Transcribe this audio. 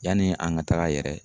Yani an ka taga yɛrɛ